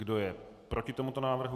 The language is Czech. Kdo je proti tomuto návrhu?